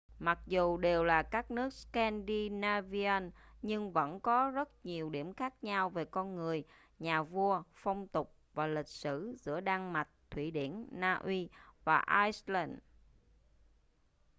mặc dù đều là các nước scandinavian' nhưng vẫn có rất nhiều điểm khác nhau về con người nhà vua phong tục và lịch sử giữa đan mạch thụy điển na uy và iceland